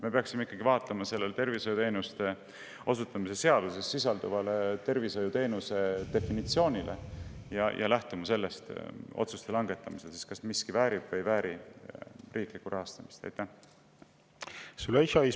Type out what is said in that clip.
Me ikkagi peaksime vaatama tervishoiuteenuste osutamise seaduses sisalduvat tervishoiuteenuse definitsiooni ja otsuse langetamisel, kas miski väärib riiklikku rahastamist või ei vääri seda, lähtuma sellest definitsioonist.